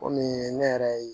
Kɔmi ne yɛrɛ ye